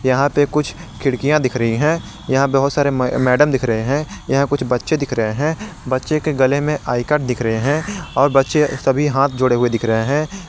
यहां पे कुछ खिड़कियां दिख रही है यहां बहुत सारे मैडम दिख रहे हैं यहां कुछ बच्चे दिख रहे हैं बच्चे के गले में आई कार्ड दिख रहे हैं और बच्चे सभी हाथ जोड़े हुए दिख रहे हैं।